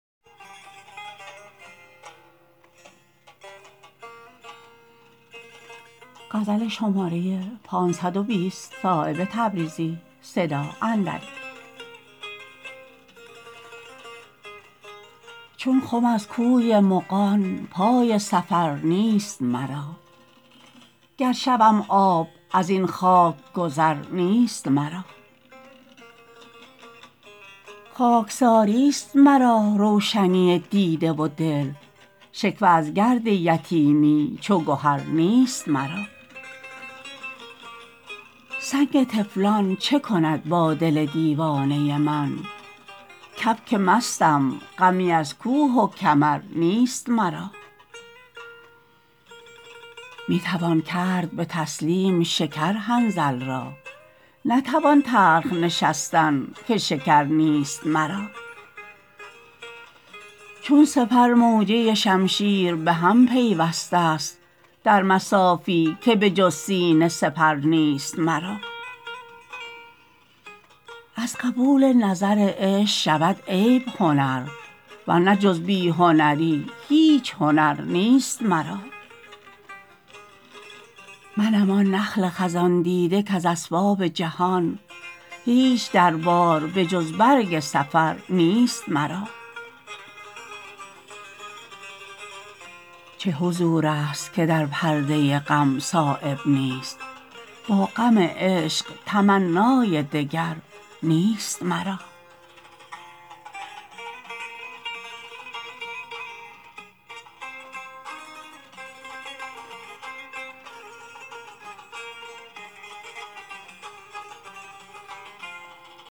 چون خم از کوی مغان پای سفر نیست مرا گر شوم آب ازین خاک گذر نیست مرا خاکساری است مرا روشنی دیده و دل شکوه از گرد یتیمی چو گهر نیست مرا سنگ طفلان چه کند با دل دیوانه من کبک مستم غمی از کوه و کمر نیست مرا می توان کرد به تسلیم شکر حنظل را نتوان تلخ نشستن که شکر نیست مرا چون سپر موجه شمشیر به هم پیوسته است در مصافی که به جز سینه سپر نیست مرا از قبول نظر عشق شود عیب هنر ورنه جز بی هنری هیچ هنر نیست مرا منم آن نخل خزان دیده کز اسباب جهان هیچ دربار به جز برگ سفر نیست مرا چه حضورست که در پرده غم صایب نیست با غم عشق تمنای دگر نیست مرا